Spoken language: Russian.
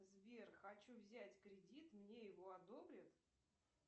сбер хочу взять кредит мне его одобрят